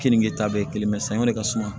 Kenige ta bɛ kelen sange ka suma